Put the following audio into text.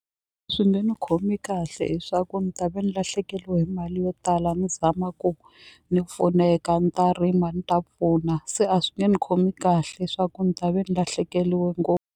Swi nge ni khomi kahle hi swa ku ni ta ve ni lahlekeliwe hi mali yo tala ni zama ku ni pfuneka ni ta rima ni ta pfuna se a swi nge ni khomi kahle swa ku ni ta ve ni lahlekeliwe .